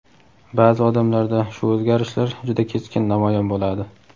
Ba’zi odamlarda shu o‘zgarishlar juda keskin namoyon bo‘ladi.